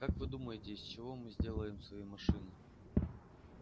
как вы думаете из чего мы сделаем свои машины